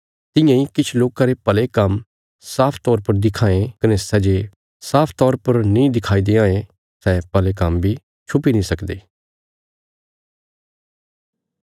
तियां इ किछ लोकां रे भले काम्म साफ तौर पर दिखां ये कने सै जे साफ तौर पर नीं दिखाई देआंये सै भले काम्म बी छुपी नीं सकदे